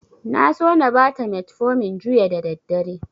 Na so na bata metfomin juya da daddare.